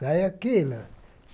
Sai aquilo.